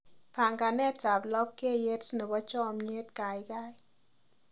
Panganetab labkeiyet nebo chomnyet gaigai